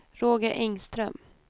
Roger Engström